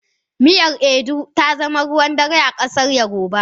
Miyar Ewedu ta zama ruwan dare a ƙasar yarbawa.